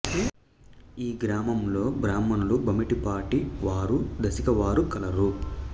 ఈ గ్రామంలో బ్రాహ్మణులు భమిడిపాటి వారు దశిక వారు కలరు